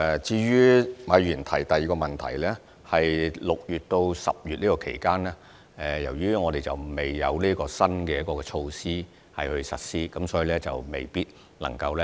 就馬議員的第二個問題，在6月至10月期間，由於新措施尚未實施，所以相關藝團未必能夠受惠。